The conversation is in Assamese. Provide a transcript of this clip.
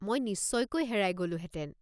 মই নিশ্চয়কৈ হেৰাই গ'লোহেতেন।